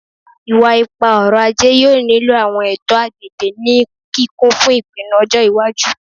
Iwa-ipa-ọrọ-aje yoo nilo awọn eto agbegbe ni kikun fun ipinnu ọjọ iwaju